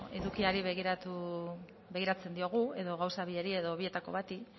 edukiari begiratzen diogu edo gauza biei edo bietako bati